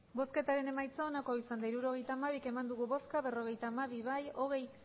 hirurogeita hamabi eman dugu bozka berrogeita hamabi bai hogei